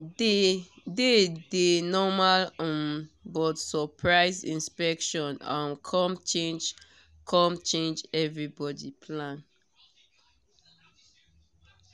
day dey normal um but surprise inspection um come change come change everybody plan.